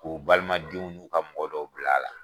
K'o balima denw n'u ka mɔgɔ dɔw bila a la.